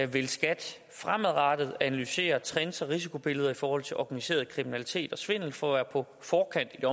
vil skat fremadrettet analysere trends og risikobilleder i forhold til organiseret kriminalitet og svindel for at være på forkant